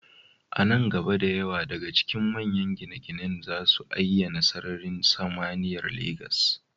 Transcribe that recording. A nan gaba, da yawa daga cikin manyan gine-ginen za su ayyana sararin samaniyar Legas.